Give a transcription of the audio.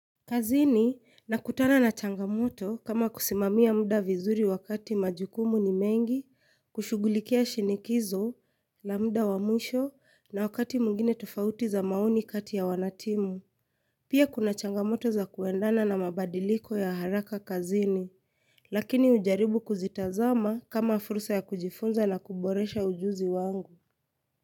Kazini nakutana na changamoto kama kusimamia muda vizuri wakati majukumu ni mengi, kushughulikia shindikizo na muda wa mwisho na wakati mwingine tofauti za maoni kati ya wanatimu. Pia kuna changamoto za kuendana na mabadiliko ya haraka kazini. Lakini hujaribu kuzitazama kama fursa ya kujifunza na kuboresha ujuzi wangu.